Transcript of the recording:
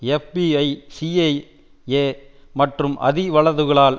FBI CIA மற்றும் அதி வலதுகளால்